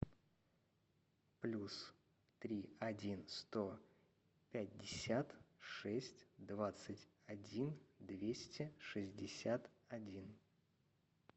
плюс три один сто пятьдесят шесть двадцать один двести шестьдесят один